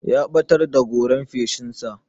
Ya ɓatar da goran feshin sa.